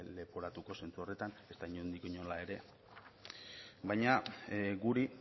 leporatuko zentzu horretan ezta inondik inora ere baina guri